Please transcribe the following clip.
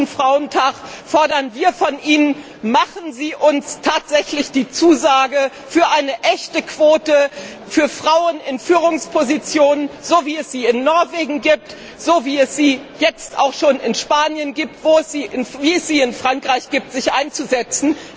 100. Frauentag fordern wir von Ihnen Machen Sie uns tatsächlich die Zusage, sich für eine echte Quote für Frauen in Führungspositionen wie es sie in Norwegen gibt, wie es sie jetzt auch schon in Spanien gibt, wie es sie in Frankreich gibt einzusetzen!